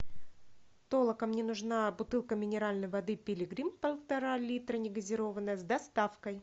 толока мне нужна бутылка минеральной воды пилигрим полтора литра негазированная с доставкой